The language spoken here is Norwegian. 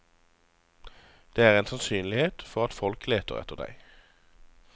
Det er en sannsynlighet for at folk leter etter deg.